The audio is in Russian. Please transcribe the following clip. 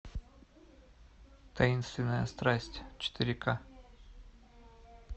таинственная страсть четыре ка